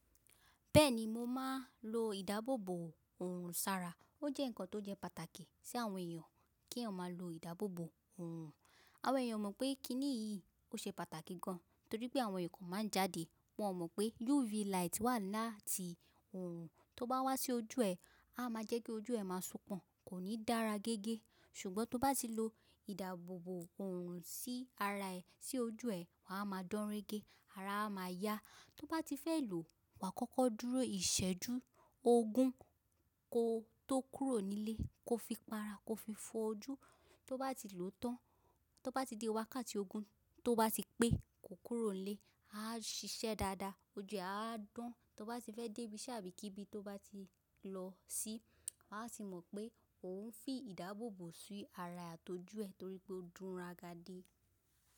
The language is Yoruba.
Bẹ́ẹ̀ni, mo máa ń lo ìdáàbòbò òrùn sára. Ó jẹ́ nǹkan tó jẹ́ pàtàkì sí àwọn èèyàn kí eyan máa lo ìdábòbò. Àwọn èèyàn o mọ̀ pé kí nìyí ó ṣe pàtàkì gan, torí pé àwọn èèkàn máa ń jáde. Wọn mọ̀ pé UV light wà láti òrùn, tó bá wá sí ojú ẹ, á máa jẹ́ kí ojú ẹ máa sopọ̀n, kò ní dára gẹ́gẹ́. Ṣùgbọ́n tó bá ti lo ìdáàbòbò òrùn sí ara ẹ, sí ojú ẹ, wà á máa dán rẹ́gẹ́, ara á máa yá. Tó bá ti fẹ́ lò ó, wà á kọ́kọ́ dúró ìṣẹ́jú ogún kó tó kúrò nílé, kó fi para, kó fi fọ ojú. Tó bá ti lò ó tán, tó bá ti dé wákàtí ogún tó bá ti pé kó kúrò nílé, á ṣiṣẹ́ dáadáa, ojú ẹ á dán. Tó bá ti fẹ́ débi ise tábì ibi kíbí tó bá ti lọ sí, wà á sì mọ̀ pé òun ń fi ìdáàbòbò sí ara àti ojú ẹ torí pé ó dúnra gadí.